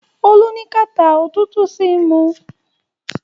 Olú ní kàtá òtútù sì ń mu.